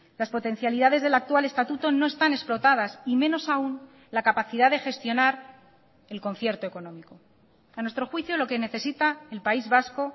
las potencialidades del actual estatuto no están explotadas y menos aún la capacidad de gestionar el concierto económico a nuestro juicio lo que necesita el país vasco